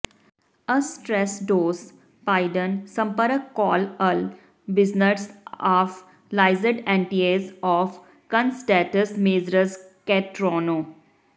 ਅਸਟਰੇਸਡੌਸ ਪਾਇਡਨ ਸੰਪਰਕ call all businesses of ਲਾਜ਼ਿਡ ਐਂਟੀਏਸ ਔਫ ਕੰਸਡੈਂਟਸ ਮੇਜਰਜ਼ ਕੈਟਰੋਨੋ